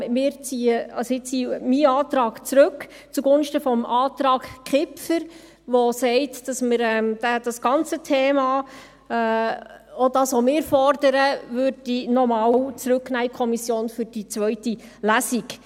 Ich ziehe meinen Antrag zugunsten des Antrags Kipfer zurück, welcher besagt, dass man das ganze Thema – auch das, welches wir fordern – für die zweite Lesung noch einmal in die Kommission zurücknehmen soll.